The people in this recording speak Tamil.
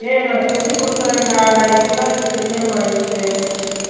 ஏய் நான் செஞ்சு கொடுக்குறேண்டா நான் இத்தனைநாள் இது தெரியாம ஆகிடுச்சு